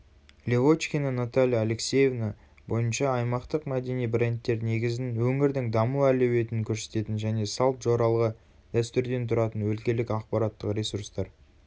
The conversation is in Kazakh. левочкина наталья алексеевна бойынша аймақтық мәдени брендтер негізін өңірдің даму әлеуетін көрсететін және салт жоралғы дәстүрден тұратын өлкелік ақпараттық ресурстар